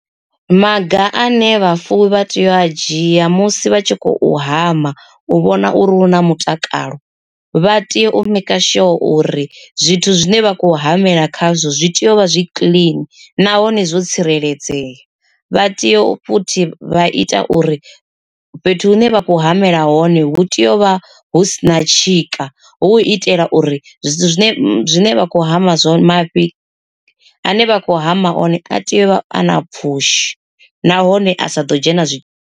Maga ane vhafuwi vha tea u a dzhia musi vha tshi khou hama u vhona uri hu na mutakalo. Vha tea u maker sure uri zwithu zwine vha khou hamela khazwo zwi tea u vha zwi kiḽini nahone zwo tsireledzea. Vha tea u futhi vha ita uri fhethu hune vha khou hamela hone hu tea u vha hu sina tshika, hu u itela uri zwithu zwine zwine vha khou hama mafhi a ne vha khou hama one a tea u vha a na pfhushi nahone a sa ḓo dzhena zwi.